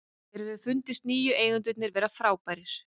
Mér hefur fundist nýju eigendurnir vera frábærir.